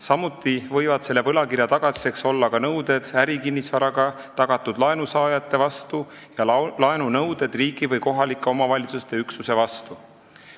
Samuti võivad selle võlakirja tagatiseks olla nõuded ärikinnisvaraga tagatud laenu saajate vastu ning laenunõuded riigi või kohalike omavalitsuste üksuste vastu.